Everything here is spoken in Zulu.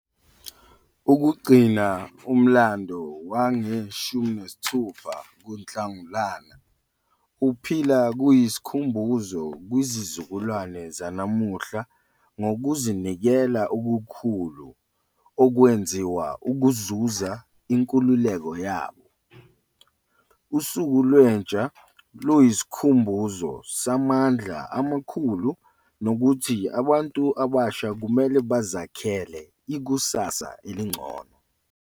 Ukugcina umlando wange-16 kuNhlangulana uphila kuyisikhumbuzo kwisizukulwane sanamuhla ngokuzidela okukhulu okwenziwa ukuzuza inkululeko yabo. Usuku Lwentsha luyisikhumbuzo samandla amakhulu nokuthi abantu abasha kumele bazakhele ikusasa elingcono.